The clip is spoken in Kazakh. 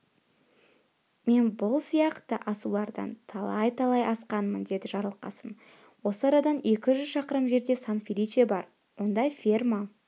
мен бұл сияқты асулардан талай-талай асқанмын деді жарылқасын осы арадан екі жүз шақырым жерде сан-феличе бар онда ферма